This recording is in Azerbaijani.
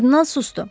Kardinal susdu.